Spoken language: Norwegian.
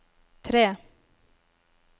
tre